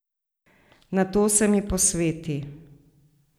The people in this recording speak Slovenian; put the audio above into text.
Nato se mi posveti.